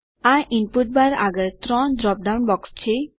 આ input bar આગળ 3 drop down box છે